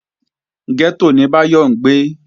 Gẹ́tò ni Báyọ̀ ń gbé